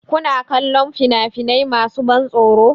Kuna kallon fina-finai masu ban tsoro?